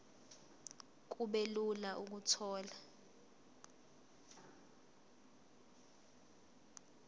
kube lula ukuthola